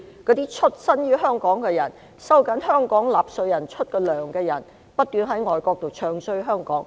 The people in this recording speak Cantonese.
那些在香港出生的人、由香港納稅人支付薪金的人，不斷在外國"唱衰"香港。